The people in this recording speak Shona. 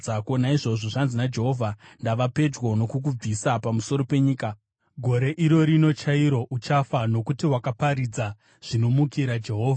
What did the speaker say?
Naizvozvo, zvanzi naJehovha, ‘Ndava pedyo nokukubvisa pamusoro penyika. Gore iro rino chairo uchafa, nokuti wakaparidza zvinomukira Jehovha.’ ”